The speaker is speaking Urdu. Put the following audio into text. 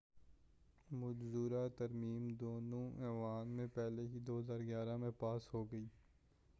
مجوزہ ترمیم دونوں ایوانوں میں پہلے ہی 2011 میں پاس ہو گئی